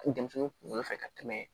Denmisɛnninw kunkolo fɛ ka tɛmɛ